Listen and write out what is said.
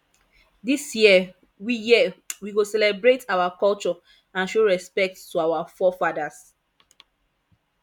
this year we year we go celebrate our culture and show respect to our forefathers